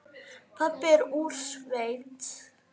Pabbi er úr sveit.